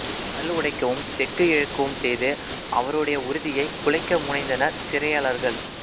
கல் உடைக்கவும் செக்கு இழுக்கவும் செய்து அவருடைய உறுதியைக் குலைக்க முனைந்தனர் சிறையாளர்கள்